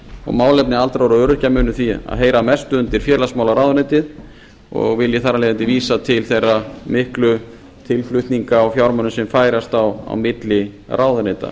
og málefni aldraðra og öryrkja munu því heyra mest undir félagsmálaráðuneytið og vil ég þar af leiðandi vísa til þeirra miklu tilflutninga á fjármunum sem færast á milli ráðuneyta